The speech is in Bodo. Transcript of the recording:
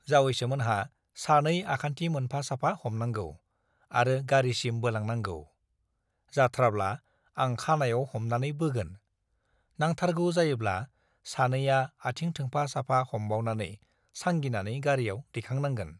जावैसोमोनहा सानै आखान्थि मोनफा साफा हमनांगौ आरो गारिसिम बोलांनांगौ , जाथ्राब्ला आं खानाइयाव हमनानै बोगोन, नांथारगौ जायोब्ला सानैया आथिं थोंफा साफा हमबावनानै सांगिनानै गारियाव दैखां नांगोन ।